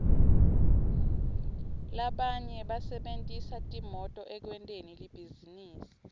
labanye basebentisa timoto ekwenteni libhizinisi